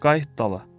Qayıt dala.